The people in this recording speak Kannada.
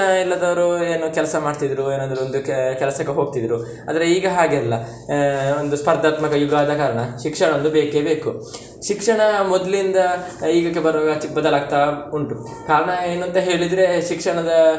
ಇಲ್ಲದವರು ಏನೋ ಕೆಲ್ಸ ಮಾಡ್ತಿದ್ರು, ಏನಾದ್ರೂ ಒಂದು ಕೆ~ ಕೆಲಸಕ್ಕೆ ಹೋಗ್ತಿದ್ರು, ಅಂದ್ರೆ ಈಗ ಹಾಗೆ ಅಲ್ಲ ಆಹ್ ಒಂದು ಸ್ಪರ್ಧಾತ್ಮಕ ಯುಗ ಆದ ಕಾರಣ ಶಿಕ್ಷಣ ಒಂದು ಬೇಕೆಬೇಕು. ಶಿಕ್ಷಣ ಮೊದ್ಲಿನ್ದ ಈಗಕ್ಕೆ ಬರ್ವಾಗ ಚಿಕ್ಕ್ ಬದಲಾಗ್ತಾ ಉಂಟು, ಕಾರಣ ಏನು ಅಂತ ಹೇಳಿದ್ರೆ ಶಿಕ್ಷಣದ.